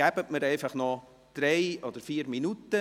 Geben Sie mir noch drei oder vier Minuten.